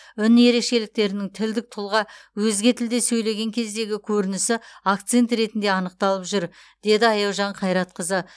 үн ерекшеліктерінің тілдік тұлға өзге тілде сөйлеген кездегі көрінісі акцент ретінде анықталып жүр деді аяужан қайратқызы